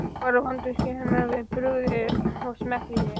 Var vandvirkni hennar við brugðið og smekkvísi.